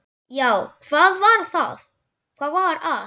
Já, hvað var að?